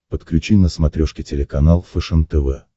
подключи на смотрешке телеканал фэшен тв